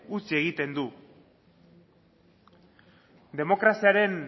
utzi egiten du demokraziaren